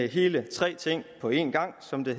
hele tre ting på en gang som det